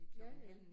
Ja ja